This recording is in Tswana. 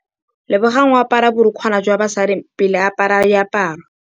Lebogang o apara borukgwana ba basadi pele a apara diaparô.